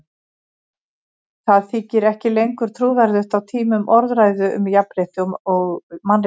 Það þykir ekki lengur trúverðugt á tímum orðræðu um jafnrétti og mannréttindi.